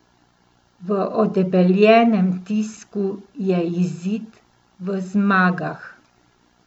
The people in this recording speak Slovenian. V odebeljenem tisku je izid v zmagah.